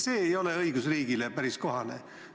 See ei ole õigusriigile päris kohane.